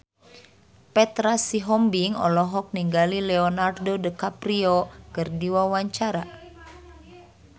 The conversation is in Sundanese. Petra Sihombing olohok ningali Leonardo DiCaprio keur diwawancara